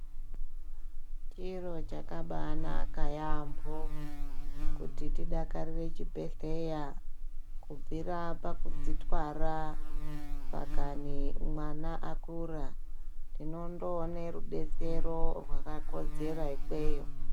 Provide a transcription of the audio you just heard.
Chiro chakabanaka yamho kuti tidakarire chibhedhleya , kubvira pakudzitwara pakani mwana akura tinondoona rudetsero rwakakodzera ikweyo.